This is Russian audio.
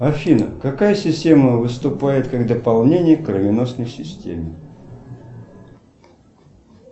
афина какая система выступает как дополнение к кровеносной системе